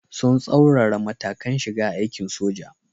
Sun tsaurara matakan shiga aikin soja.